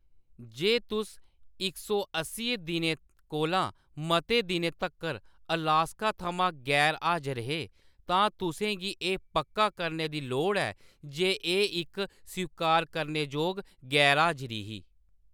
जे तुस इक सौ अस्सियें दिनें कोला मते दिनें तगर अलास्का थमां गैर-हाजर हे, तां तुसें गी एह्‌‌ पक्का करने दी लोड़ ऐ जे एह्‌‌ इक स्वीकार करने जोग गैर-हाजरी ही।